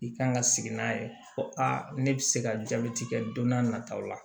I kan ka sigi n'a ye fɔ a ne bɛ se ka jaabi kɛ don n'a nataw la